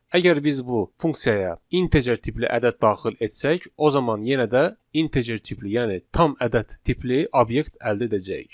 Əgər biz bu funksiyaya integer tipli ədəd daxil etsək, o zaman yenə də integer tipli, yəni tam ədəd tipli obyekt əldə edəcəyik.